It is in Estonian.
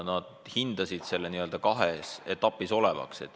Nad pakkusid, et töö hakkab olema kahes etapis.